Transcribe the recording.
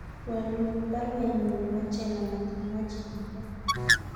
Wolun baruenyun nebo Chelengata imwochi kongoi